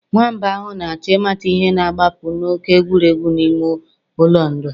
Nwamba ahụ na-achọ ịmata ihe na-agbapụ na òké egwuregwu n'ime ụlọ ndụ